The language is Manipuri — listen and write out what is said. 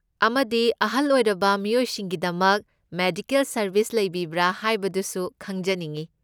ꯑꯃꯗꯤ, ꯑꯍꯜ ꯑꯣꯏꯔꯕ ꯃꯤꯑꯣꯏꯁꯤꯡꯒꯤꯗꯃꯛ ꯃꯦꯗꯤꯀꯦꯜ ꯁꯔꯕꯤꯁ ꯂꯩꯕꯤꯕꯔꯥ ꯍꯥꯏꯕꯗꯨꯁꯨ ꯈꯪꯖꯅꯤꯡꯏ?